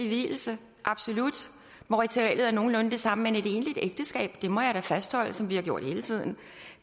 vielse absolut hvor ritualet er nogenlunde det samme men et egentligt ægteskab det må jeg da fastholde som vi har gjort hele tiden